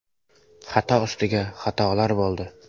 Xato ustiga xatolar bo‘ldi.